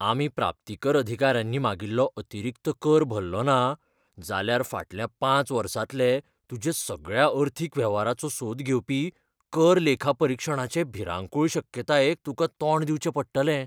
आमी प्राप्तीकर अधिकाऱ्यांनी मागिल्लो अतिरिक्त कर भरलोना, जाल्यार फाटल्या पांच वर्सांतले तुज्या सगळ्या अर्थीक वेव्हाराचो सोद घेवपी कर लेखापरीक्षणाचे भिरांकूळ शक्यतायेक तुका तोंड दिवचें पडटलें.